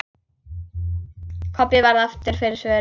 Kobbi varð aftur fyrir svörum.